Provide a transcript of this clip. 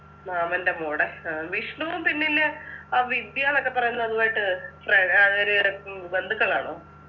മാമൻ്റെ മോടെ ആഹ് വിഷ്ണും പിന്നിലെ ആ വിദ്യാന്നൊക്കെ പറയുന്ന അതുമായിട്ട് ഫ്ര അവര് ഉം ബന്ധുക്കളാണോ